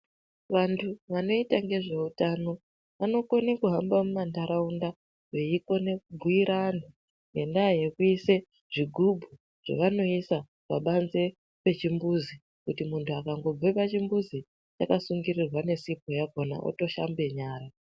Vantu vanoita ngezveutano vanokone kuhamba mumanharaunda veikone kubhuyira vanhu ngenda yekuise zvigubhu zvavanoisa pabanzi pechimbuzi kuti muntu akangobve pachimbuzi yakasungirirwa nesipo yakona otoshambe nyara.